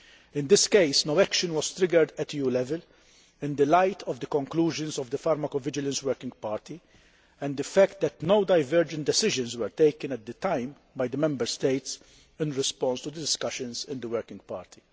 In this case, no action was triggered at EU level in the light of the conclusions of the pharmacovigilance working party and the fact that no divergent decisions were taken at the time by the Member States in response to the discussions in the working party.